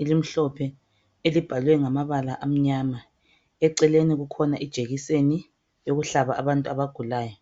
elimhlophe elibhalwe ngamabala amnyama eceleni kukhona ijekiseni yokuhlala abantu abagulayo.